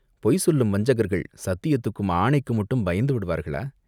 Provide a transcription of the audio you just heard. பொய் சொல்லும் வஞ்சகர்கள் சத்தியத்துக்கும் ஆணைக்கும் மட்டும் பயந்து விடுவார்களா?